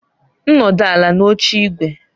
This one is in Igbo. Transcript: M nọdụ ala n'oche ígwè.